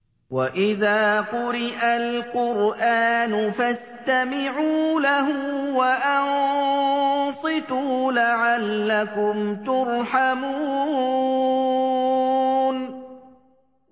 وَإِذَا قُرِئَ الْقُرْآنُ فَاسْتَمِعُوا لَهُ وَأَنصِتُوا لَعَلَّكُمْ تُرْحَمُونَ